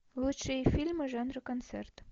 лучшие фильмы жанра концерт